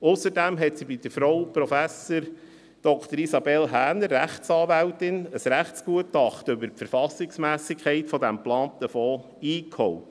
Ausserdem hat sie bei Frau Prof. Dr. Isabelle Häner, Rechtsanwältin, ein Rechtsgutachten über die Verfassungsmässigkeit dieses geplanten Fonds eingeholt.